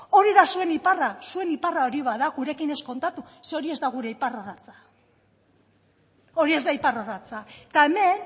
hori da zuen iparra zuen iparra hori bada gurekin ez kontatu zeren hori ez da gure iparrorratza hori ez da iparrorratza eta hemen